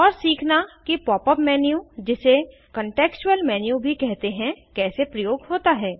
और सीखना कि पॉप अप मेन्यू जिसे कन्टेक्स्चूअल मेन्यू भी कहते हैं कैसे प्रयोग होता है